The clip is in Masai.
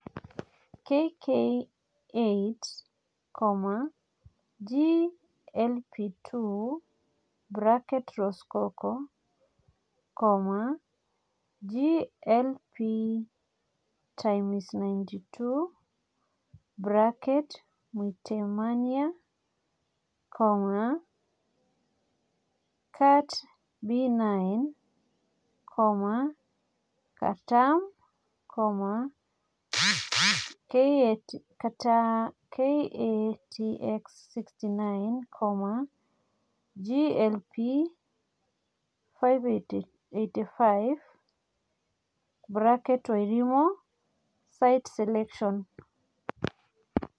KK8, GLP 2 (Rosecoco), GLPx92 (Mwitemania), KatB9, Katram, Katx69, GLP585 (Wairimu) SITE SELECTION